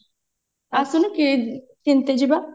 ଆଶୁଣୁ କିଣି କିନତେ ଯିବା